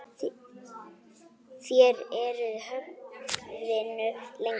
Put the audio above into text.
Þér eruð höfðinu lengri.